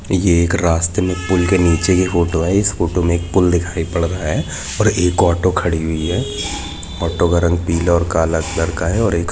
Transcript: यह एक रासते मे पुल के नीचे की फोटो है इस फोटो मे एक पुल दिखाई पड़ रहा है ओर ऑटो खड़ी है ऑटो का रंग पीला ओर काला अंदर का है और एक--